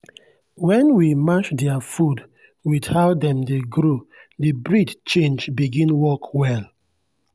when we match their food with how dem dey grow the breed change begin work well.